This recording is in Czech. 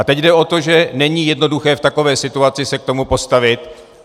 A teď jde o to, že není jednoduché v takové situaci se k tomu postavit.